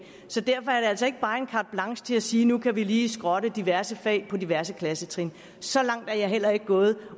så derfor er det altså ikke bare en carte blanche til at sige at nu kan vi lige skrotte diverse fag på diverse klassetrin så langt er jeg heller ikke gået